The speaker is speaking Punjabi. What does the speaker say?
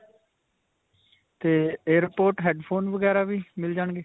'ਤੇ air pod, headphone ਵਗੈਰਾ ਵੀ ਮਿਲ ਜਾਣਗੇ?